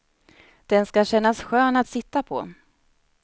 Den ska kännas skön att sitta på.